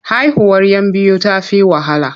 Haihuwar 'yan biyu ta fi wahala.